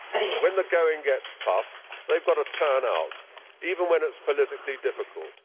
When the going gets tough they have got to turn out, even when it is politically difficult.